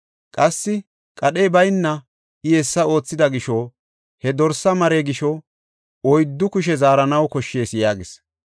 Qassi qadhey bayna I hessa oothida gisho, he dorsa mare gisho oyddu kushe zaaranaw koshshees” yaagis.